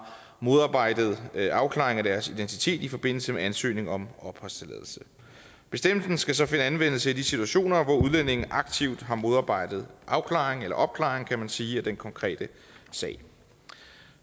modarbejdet afklaring af deres identitet i forbindelse med ansøgning om opholdstilladelse bestemmelsen skal så finde anvendelse i de situationer hvor udlændingen aktivt har modarbejdet afklaring eller opklaring kan man sige af den konkrete sag